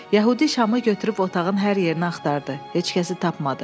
Yəhudi şamı götürüb otağın hər yerinə axtardı, heç kəsi tapmadı.